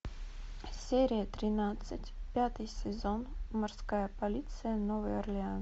серия тринадцать пятый сезон морская полиция новый орлеан